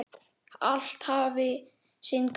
Allt hafi sinn gang.